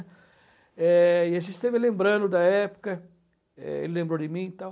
é, e a gente esteve lembrando da época, é ele lembrou de mim e tal.